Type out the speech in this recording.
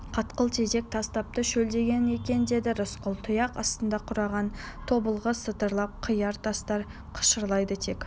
қатқыл тезек тастапты шөлдеген екен деді рысқұл тұяқ астында қураған тобылғы сытырлап қияқ тастар қышырлайды тек